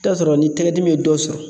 I bi t'a sɔrɔ ni tɛgɛ dimi ye dɔ sɔrɔ